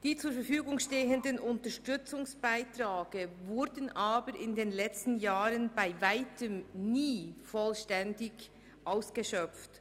Die zur Verfügung stehenden Unterstützungsbeiträge wurden aber in den letzten Jahren bei Weitem nicht vollständig ausgeschöpft.